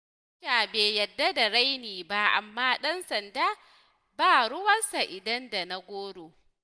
Soja bai yadda da raini ba, amma ɗan sanda ba ruwansa idan da na goro.